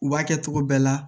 U b'a kɛ cogo bɛɛ la